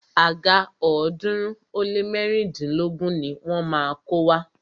Àga ọ̀ọ́dúnrún ó lé mẹ́rìndínlógún ni wọ́n má a kó wá.